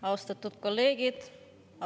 Austatud kolleegid!